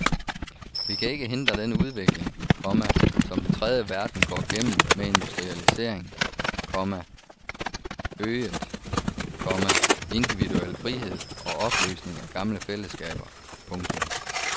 Vi kan ikke hindre den udvikling, komma som den tredje verden går gennem med industrialisering, komma øget, komma individuel frihed og opløsning af gamle fællesskaber. punktum